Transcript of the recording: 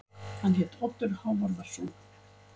Hann hét Oddur Hávarðarson.